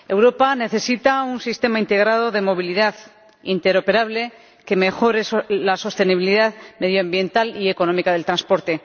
Europa necesita un sistema integrado de movilidad interoperable que mejore la sostenibilidad medioambiental y económica del transporte.